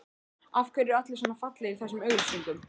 Af hverju eru allir svona fallegir í þessum auglýsingum?